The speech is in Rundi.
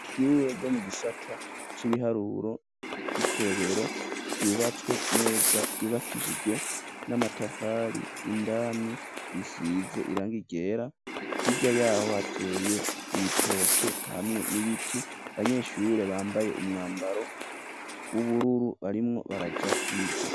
Ishure ryo mu gisata c'ibiharuro ry'ikobero ryubatswe neza ryubakishijwe n'amatafari indani risize irangi ryera hirya yaho hateye ibitoke hamwe n'ibiti banyeshure bambaye umwambaro w'ubururu barimwo baraja kwiga.